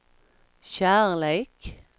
kärlek